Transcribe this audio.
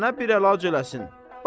Sənə bir əlac eləsin.